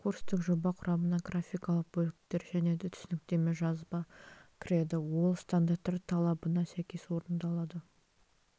курстық жоба құрамына графикалық бөлік және де түсініктеме жазба кіреді ол стандарттар талабына сәйкес орындалады